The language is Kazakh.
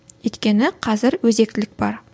өйткені қазір өзектілік бар